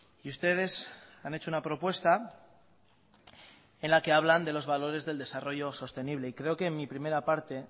y ustedes han hecho una propuesta en la que hablan de los valores del desarrollo sostenible y creo que en mi primera parte he